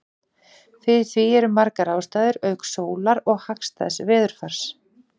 Fyrir því eru margar ástæður auk sólar og hagstæðs veðurfars.